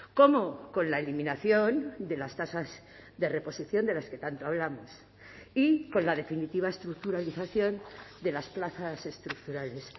cómo con la eliminación de las tasas de reposición de las que tanto hablamos y con la definitiva estructuralización de las plazas estructurales